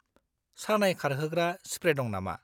सानाय खारहोग्रा स्प्रे दं नामा?